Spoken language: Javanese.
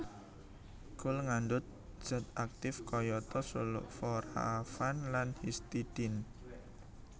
Kul ngandhut zat aktif kayata sulforafan lan histidine